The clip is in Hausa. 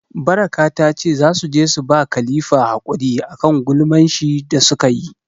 Baraka ta ce za su je su ba Khalifa hakuri a kan gulman shi da su ka yi.